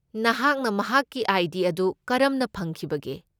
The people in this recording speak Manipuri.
ꯅꯍꯥꯛꯅ ꯃꯍꯥꯛꯀꯤ ꯑꯥꯏ. ꯗꯤ. ꯑꯗꯨ ꯀꯔꯝꯅ ꯐꯪꯈꯤꯕꯒꯦ?